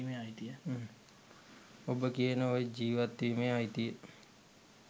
ඔබ ඔය කියන ජීවත් වීමේ අයිතිය